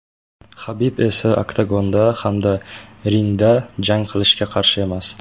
Habib esa oktagonda hamda ringda jang qilishga qarshi emas.